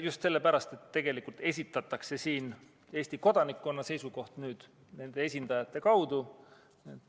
Just sellepärast, et tegelikult esitatakse siin Eesti kodanikkonna seisukoht nende esindajate kaudu.